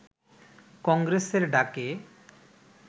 কংগ্রেসের ডাকে